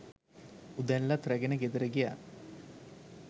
උදැල්ලත් රැගෙන ගෙදර ගියා.